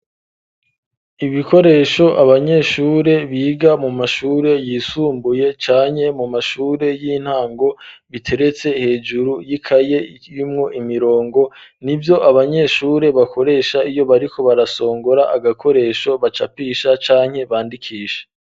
Ibikoresho abanyeshure biga mu mashure yisumbuye canke mu mashure y'intango biteretse hejuru y'ikaye yimwo imirongo ni vyo abanyeshure bakoresha iyo bariko barasongora agakoresho bacapisha canke bandikisha.